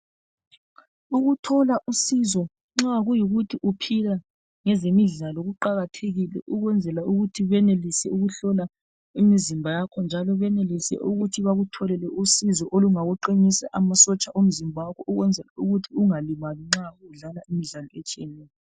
Ukuthola usizo nxa kuyikuthi uphila ngezemidlalo kuqakathekile ukwenzela ukuthi benelise ukuhlola imizimba yakho njalo benelise ukuthi bakutholele usizo olungakuqinisa amasotsha omzimba wakho ukwenzela ukuth ungalimali nxa udlala imdlalo etshiyeneyo.